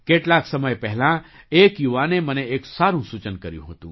કેટલાક સમય પહેલાં એક યુવાને મને એક સારું સૂચન કર્યું હતું